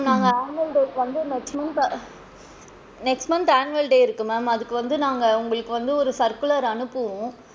நாங்க annual day க்கு வந்து இந்த next month annual day இருக்கு ma'am அதுக்கு வந்து நாங்க உங்களுக்கு வந்து ஒரு circular அனுப்புவோம்,